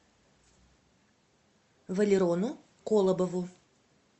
валерону колобову